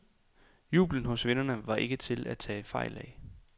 Jublen hos vinderne var ikke til at tage fejl af.